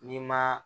N'i ma